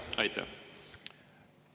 Teie aeg!